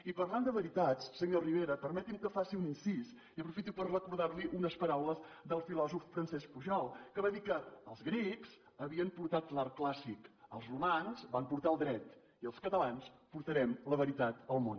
i parlant de veritats senyor rivera permeti’m que faci un incís i aprofito per recordar li unes paraules del filòsof francesc pujols que va dir que els grecs havien portat l’art clàssic els romans van portar el dret i els catalans portarem la veritat al món